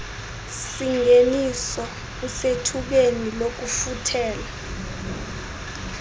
singeniso usethubeni lokufuthela